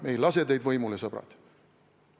Me ei lase teid võimule, sõbrad!